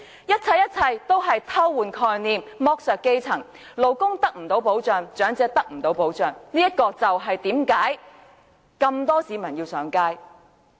一切一切都是偷換概念，剝削基層，勞工未能得到保障，長者得不到保障，這便是為甚麼眾多市民上街遊行的原因。